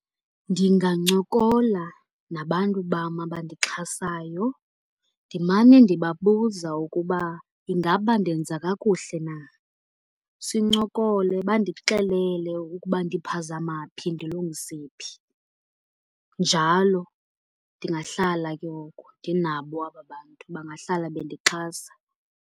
Ndingancokola nabantu bam abandixhasayo ndimane ndibabuza ukuba ingaba ndenza kakuhle na. Sincokole bandixelele ukuba ndiphazama phi, ndilungise phi. Njalo ndingahlala ke ngoku ndinabo aba bantu, bangahlala bendixhasa.